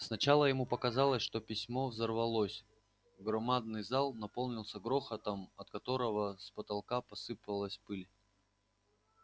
сначала ему показалось что письмо взорвалось громадный зал наполнился грохотом от которого с потолка посыпалась пыль